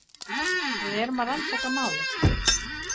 Við erum að rannsaka málið.